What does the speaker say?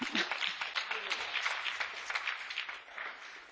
To była prawdziwa przyjemność przewodniczyć tej debacie.